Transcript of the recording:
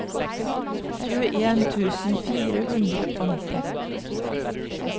tjueen tusen fire hundre og nitti